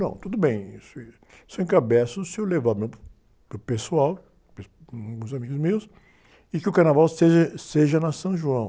Não, tudo bem, isso, isso eu encabeço, se eu levar meu, para o pessoal, uns amigos meus, e que o carnaval seja, seja na São João.